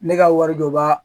Ne ka wari bɛ bɔ